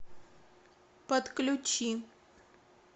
подключи